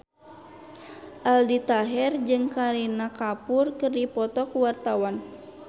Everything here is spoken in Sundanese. Aldi Taher jeung Kareena Kapoor keur dipoto ku wartawan